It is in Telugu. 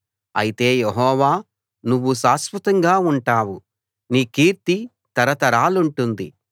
అయితే యెహోవా నువ్వు శాశ్వతంగా ఉంటావు నీ కీర్తి తరతరాలుంటుంది